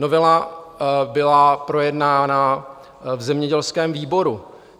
Novela byla projednána v zemědělském výboru.